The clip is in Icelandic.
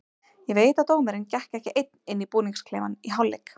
Ég veit að dómarinn gekk ekki einn inn í búningsklefann í hálfleik.